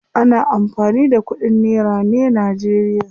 Ana amfani da kudin nera ne najeriya.